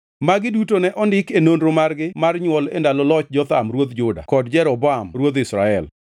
Magi duto ne ondiki e nonro margi mar nywol e ndalo loch Jotham ruodh Juda kod Jeroboam ruodh Israel.